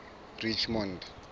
richmond